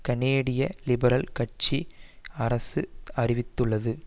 கனேடிய லிபரல் கட்சி அரசு அறிவித்துள்ளது